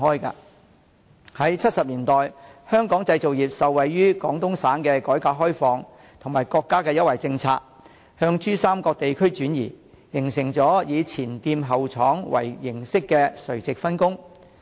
在1970年代，香港製造業受惠於廣東省的改革開放和國家的優惠政策，向珠三角地區轉移，形成了以"前店後廠"為形式的垂直分工。